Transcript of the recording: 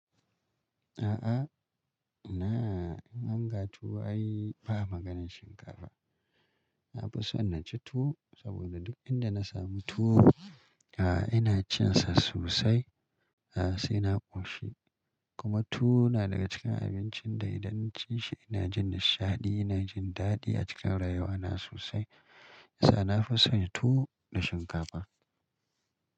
A'a ina! In an ga tuwo ai ba maganar shinkafa. Na fi son na ci tuwo saboda duk inda na sami tuwo, ah ina cin sa sosai. A'a sai na ƙoshi. Kuma tuwo na daga cikin abincin da idan na ci shi ina jin nishaɗi, ina jin daɗi a cikin rayuwa na sosai. A'a nan na fi son tuwo da shinkafa.